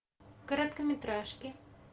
короткометражки